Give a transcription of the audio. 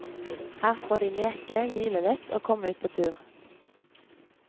Her får de leke, hvile litt og komme ut på tur.